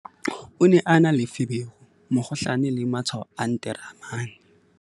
O ne a na le feberu-mokgohlane le matshwao a nteremane.